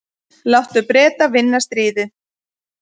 Láttu Breta vinna stríðið.